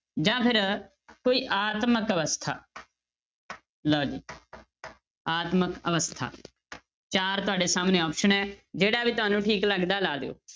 ਜਾਂ ਫਿਰ ਕੋਈ ਆਤਮਕ ਅਵਸਥਾ ਲਓ ਜੀ ਆਤਮਕ ਅਵਸਥਾ ਚਾਰ ਤੁਹਾਡੇ ਸਾਹਮਣੇ option ਹੈ ਜਿਹੜਾ ਵੀ ਤੁਹਾਨੂੰ ਠੀਕ ਲੱਗਦਾ ਹੈ ਲਾ ਦਿਓ।